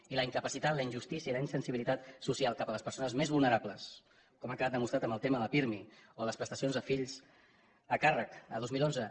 i la incapacitat la injustícia i la insensibilitat social cap a les persones més vulnerables com ha quedat demostrat amb el tema del pirmi o les prestacions per fills a càrrec el dos mil onze